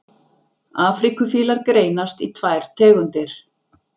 afríkufílar greinast í tvær tegundir